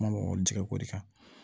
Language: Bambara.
Kuma tigɛ ko de kan